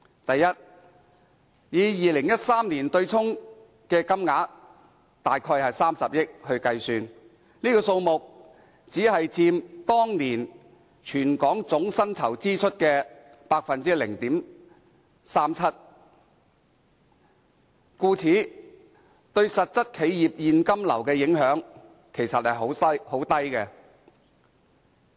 第一，以2013年的對沖金額計算，這數目只佔當年全港總薪酬支出的 0.37%， 對實質企業現金流的影響其實很低。